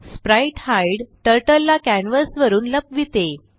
sprite hide turtle ला canvas वरुन लपविते